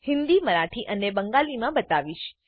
હિન્દી મરાઠી અને બંગાળીમાં બતાવીશ